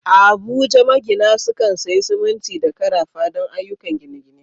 A Abuja, magina sukan sayi siminti da karafa don ayyukan gine-gine.